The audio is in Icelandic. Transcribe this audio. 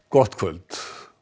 gott kvöld